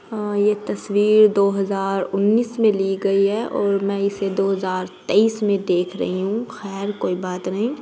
हाँ ये तस्वीर दो हजार उन्नीस में ली गई है और मैं इसे दो हजार तेईस में देख रही हूँ खैर कोई बात नहीं।